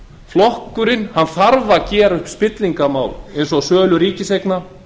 flokkurinn þarf að gera upp spillingarmál eins og sölu ríkiseigna